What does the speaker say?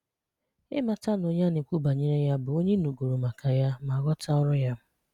Ịmata na onye a na-ekwu banyere ya bụ onye ị nụgoro maka ya, ma ghọta ọrụ ya.